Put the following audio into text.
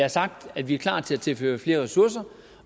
har sagt at vi er klar til at tilføre flere ressourcer